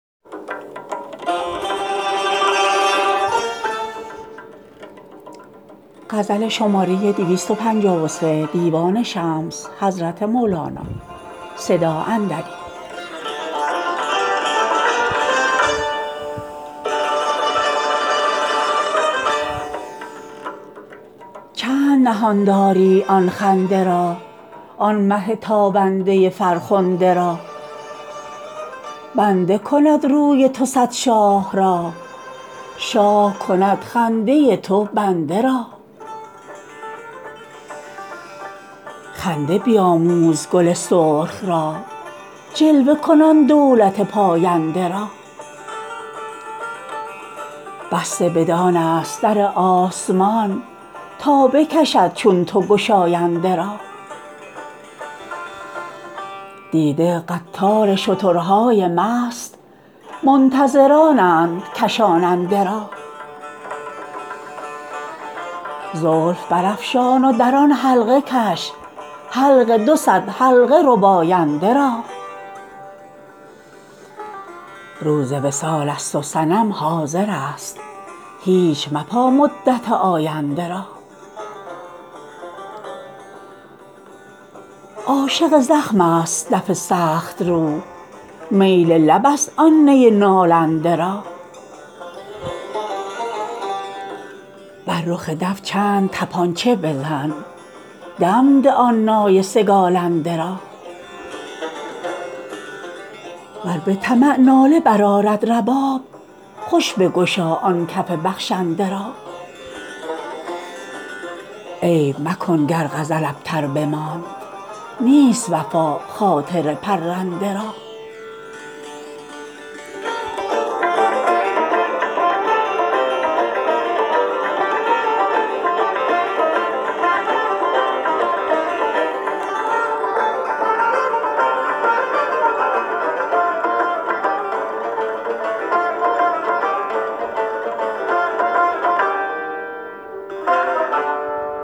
چند نهان داری آن خنده را آن مه تابنده فرخنده را بنده کند روی تو صد شاه را شاه کند خنده تو بنده را خنده بیآموز گل سرخ را جلوه کن آن دولت پاینده را بسته بدان ست در آسمان تا بکشد چون تو گشاینده را دیده قطار شترهای مست منتظرانند کشاننده را زلف برافشان و در آن حلقه کش حلق دو صد حلقه رباینده را روز وصال ست و صنم حاضرست هیچ مپا مدت آینده را عاشق زخم ست دف سخت رو میل لب ست آن نی نالنده را بر رخ دف چند طپانچه بزن دم ده آن نای سگالنده را ور به طمع ناله برآرد رباب خوش بگشا آن کف بخشنده را عیب مکن گر غزل ابتر بماند نیست وفا خاطر پرنده را